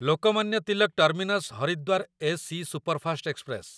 Lokmanya Tilak terminus Haridwar AC superfast express